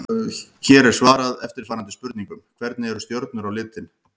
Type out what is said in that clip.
Hér er svarað eftirfarandi spurningum: Hvernig eru stjörnur á litinn?